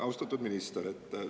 Austatud minister!